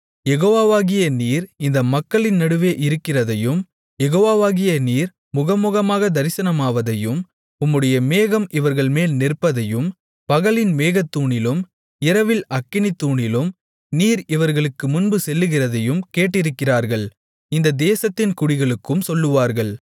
யெகோவாவாகிய நீர் இந்த மக்களின் நடுவே இருக்கிறதையும் யெகோவாவாகிய நீர் முகமுகமாகத் தரிசனமாவதையும் உம்முடைய மேகம் இவர்கள்மேல் நிற்பதையும் பகலில் மேகத்தூணிலும் இரவில் அக்கினித்தூணிலும் நீர் இவர்களுக்கு முன்பு செல்லுகிறதையும் கேட்டிருக்கிறார்கள் இந்த தேசத்தின் குடிகளுக்கும் சொல்லுவார்கள்